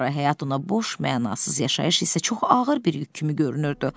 Həyat ona boş, mənasız, yaşayış isə çox ağır bir yük kimi görünürdü.